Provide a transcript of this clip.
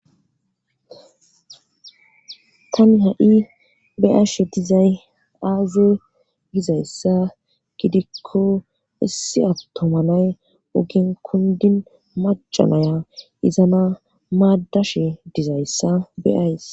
Tani ha7i beashe dizay aaze gizayssa gidikko isse attomanay ogin kundin macanaya izana maadashe dizayssa beyays